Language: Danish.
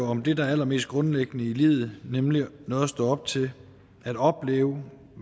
om det allermest grundlæggende i livet nemlig noget at stå op til at opleve